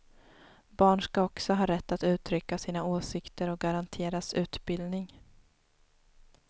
Barn ska också ha rätt att uttrycka sina åsikter och garanteras utbildning.